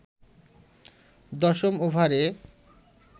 দশম ওভারে